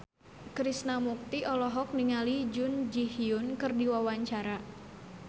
Krishna Mukti olohok ningali Jun Ji Hyun keur diwawancara